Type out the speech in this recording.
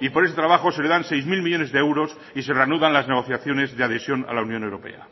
y por ese trabajo se le dan seis mil millónes de euros y se reanudan las negociaciones de adhesión a la unión europea